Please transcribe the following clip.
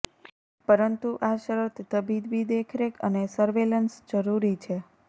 પરંતુ આ શરત તબીબી દેખરેખ અને સર્વેલન્સ જરૂરી છે